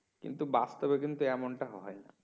কিন্তু বাস্তবে কিন্তু এমন টা হয় না